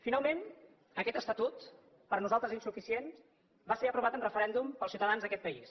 finalment aquest estatut per nosaltres insuficient va ser aprovat en referèndum pels ciutadans d’aquest país